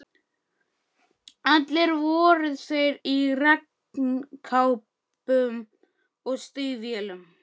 Allir voru þeir í regnkápum og stígvélum.